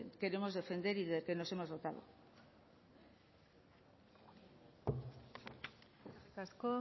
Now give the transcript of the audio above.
queremos defender y del que nos hemos dotado eskerrik asko